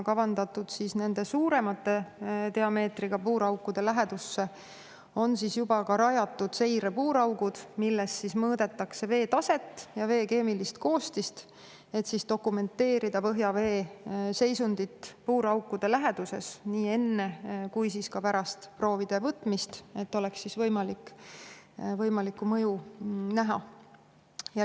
Kavandatud suurema diameetriga puuraukude lähedusse on juba rajatud seirepuuraugud, milles mõõdetakse vee taset ja vee keemilist koostist, et dokumenteerida põhjavee seisundit puuraukude läheduses nii enne kui ka pärast proovide võtmist, et saaks võimalikku mõju näha.